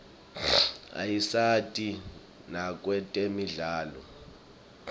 ayasita nakwetemidlalo